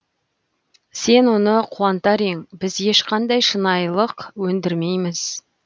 сен оны қуантар ең біз ешқандай шынайылық өндірмейміз